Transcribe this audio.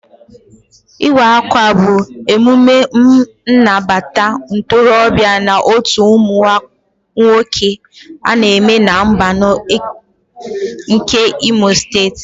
Iwa akwa bụ emume nnabata ntorobịa na otú ụmụ nwoke ana eme na mbano nke imo steeti.